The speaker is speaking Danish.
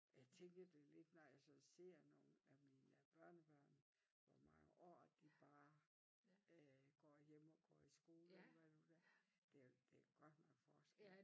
Jeg tænker det lidt når jeg så ser nogle af mine børnebørn hvor mange år de bare øh går hjemme og går i skole eller hvad nu det er der er der godt nok forskel